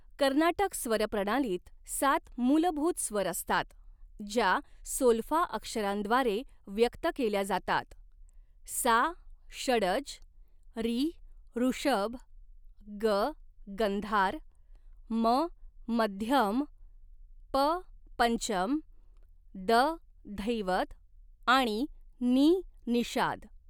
कर्नाटक स्वर प्रणालीत सात मूलभूत स्वर असतात, ज्या सोल्फा अक्षरांद्वारे व्यक्त केल्या जातात, सा षडज, रि ऋषभ, ग गंधार, म मध्यम, प पंचम, द धैवत आणि नि निषाद.